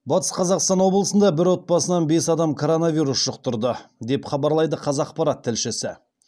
батыс қазақстан облысында бір отбасынан бес адам коронавирус жұқтырды деп хабарлайды қазақпарат тілшісі